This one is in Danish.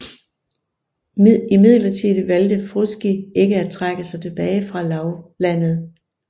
Imidlertid valgte Frusci ikke at trække sig tilbage fra lavlandet